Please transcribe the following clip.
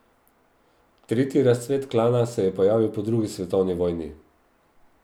Tretji razcvet Klana se je pojavil po drugi svetovni vojni.